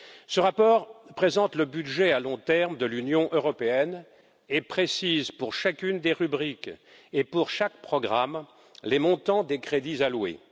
Ce rapport présente le budget à long terme de l'Union européenne et précise, pour chacune des rubriques et pour chaque programme, les montants des crédits alloués.